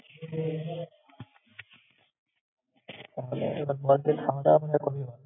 তাহলে এরকমই হয়।